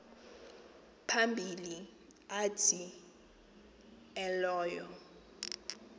phambili athi elowo